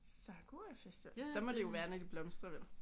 Sakura-festival. Så må det være når de blomstrer vel?